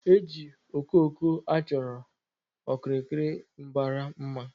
E ji okoko a chọ okirir mbara mma